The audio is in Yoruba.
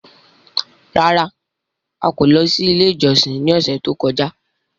Rárá! A kò lọ sí ilé ìjọsìn ní ọ̀sẹ̀ tó kọjá.